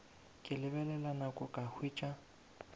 ke lebelela nako ka hwetša